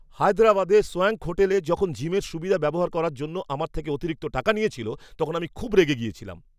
হায়দরাবাদে swank hotel যখন জিমের সুবিধা ব্যবহার করার জন্য আমার থেকে অতিরিক্ত টাকা নিয়েছিল, তখন আমি খুব রেগে গিয়েছিলাম।